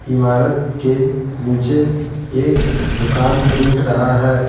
इमारत केनीचे एक दुकान दिख रहा है ।